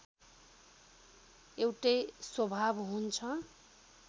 एउटै स्वभाव हुन्छ